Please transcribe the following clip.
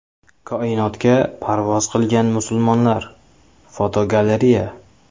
Koinotga parvoz qilgan musulmonlar (fotogalereya).